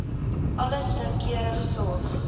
alles noukeurig sorg